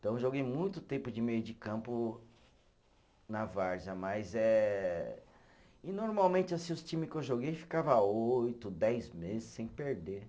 Então eu joguei muito tempo de meio de campo na várzea, mas é, e normalmente assim os times que eu joguei ficava oito, dez meses sem perder.